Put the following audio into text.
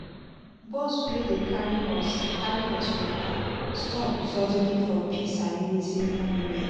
bus wey dey carry us carry us waka stop suddenly for peace and unity monument.